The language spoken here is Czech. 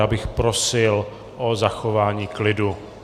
Já bych prosil o zachování klidu.